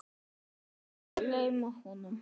Honum var nær.